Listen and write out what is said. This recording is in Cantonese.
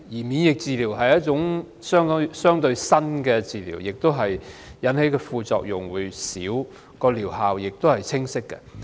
免疫療法是一種相對新的療法，引致的副作用較少，而療效也是清晰的。